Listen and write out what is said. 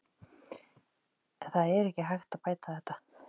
En það er ekki hægt að bæta þetta.